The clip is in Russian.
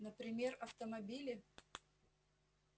например автомобили